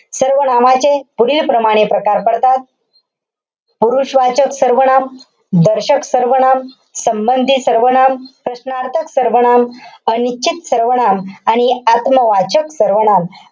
सर्वनामाचे पुढीलप्रमाणे प्रकार पडतात. पुरुषवाचक सर्वनाम, दर्शक सर्वनाम, संबंधी सर्वनाम, प्रश्नार्थक सर्वनाम, अनिश्चित सर्वनाम आणि आत्मवाचक सर्वनाम.